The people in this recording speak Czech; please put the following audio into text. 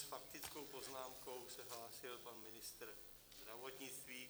S faktickou poznámkou se hlásil pan ministr zdravotnictví.